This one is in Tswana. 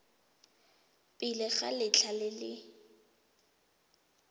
pele ga letlha le le